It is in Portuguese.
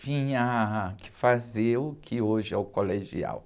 tinha que fazer o que hoje é o colegial.